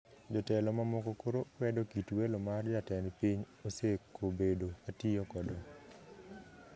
Jotelo mamoko koro kwedo kit welo mar jatend piny osekobedo ka tiyo godo